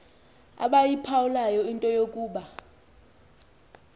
abayiphawulayo into yokuba